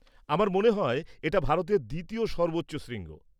আমার মনে হয় এটা ভারতের দ্বিতীয় সর্বোচ্চ শৃঙ্গ?